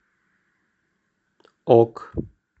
ок